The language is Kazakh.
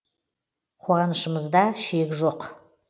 қуанышымызда шек жоқ